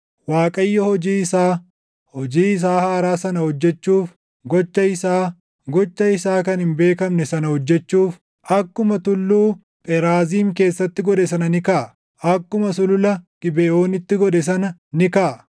Waaqayyo hojii isaa, hojii isaa haaraa sana hojjechuuf, gocha isaa, gocha isaa kan hin beekamne sana hojjechuuf, akkuma Tulluu Pheraaziim keessatti godhe sana ni kaʼa; akkuma Sulula Gibeʼoonitti godhe sana ni kaʼa.